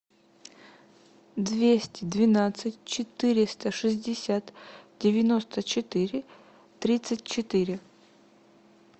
двести двенадцать четыреста шестьдесят девяносто четыре тридцать четыре